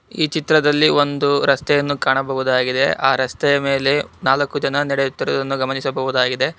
ಈ ಚಿತ್ರದಲ್ಲಿ ಒಂದು ರಸ್ತೆಯನ್ನು ಕಾಣಬಹುದಾಗಿದೆ ಆ ರಸ್ತೆಯ ಮೇಲೆ ನಾಲ್ಕು ಜನ ನಡೆಯುತ್ತಿರುದನ್ನು ಗಮನಿಸಬಹುದಾಗಿದೆ.